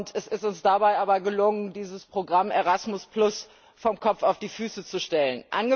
Es ist uns dabei aber gelungen, dieses Programm ERASMUS vom Kopf auf die Füße zu stellen.